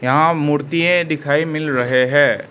आ मूर्तिये है दिखाई मिल रहे हैं।